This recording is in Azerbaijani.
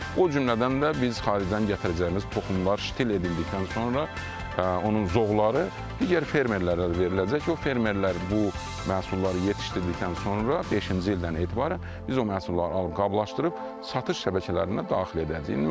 O cümlədən də biz xaricdən gətirəcəyimiz toxumlar ştil edildikdən sonra onun zoğları digər fermerlərə veriləcək, o fermerlər bu məhsulları yetişdirdikdən sonra beşinci ildən etibarən biz o məhsulları qablaşdırıb satış şəbəkələrinə daxil edəcəyik.